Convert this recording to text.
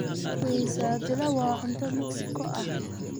Quesadilla waa cunto Meksiko ah.